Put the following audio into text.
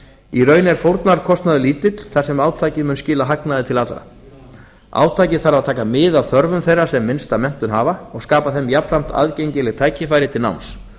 í raun er fórnarkostnaður lítill þar sem átakið mun skila hagnaði til allra átakið þarf að taka mið af þörfum þeirra sem minnsta menntun hafa og skapa þeim jafnframt aðgengileg tækifæri til náms